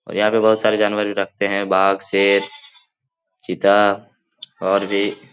और यहाँ पे बहुत सारे जानवर भी रखते है बाघ शेर चिता और भी --